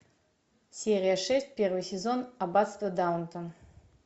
серия шесть первый сезон аббатство даунтон